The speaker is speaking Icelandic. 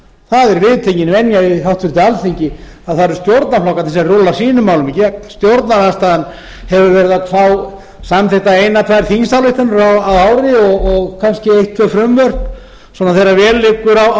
það er viðtekin venja hjá háttvirtu alþingi að það eru stjórnarflokkarnir sem rúlla sínum málum í gegn stjórnarandstaðan hefur verið að fá samþykktar eina tvær þingsályktanir á ári og kannski eitt tvö frumvarp svona þegar vel liggur á stjórnarflokkunum þannig